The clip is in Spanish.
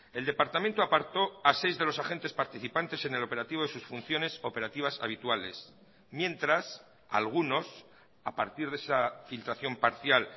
el departamento apartó a seis de los agentes participantes en el operativo de sus funciones operativas habituales mientras algunos a partir de esa filtración parcial